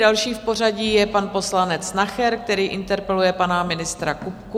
Další v pořadí je pan poslanec Nacher, který interpeluje pana ministra Kupku.